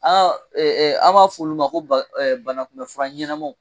an b'a fɔ olu ma ko bana kunbɛ fura ɲɛnamaw